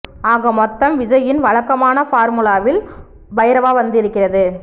ஆக மொத்தம் விஜய்யின் வழக்கமான பார்முலாவில் பைரவா வந்து இருக்கிறது